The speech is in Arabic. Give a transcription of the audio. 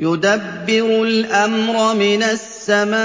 يُدَبِّرُ الْأَمْرَ مِنَ السَّمَاءِ